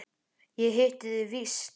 Ég hitti þig víst!